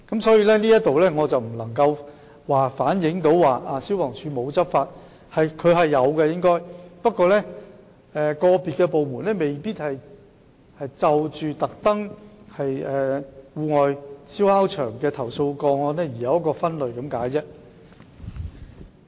所以，這並非反映消防處沒有執法，消防處應該是有執法的，只不過個別部門未必會特別就戶外燒烤場的投訴個案作出分類而已。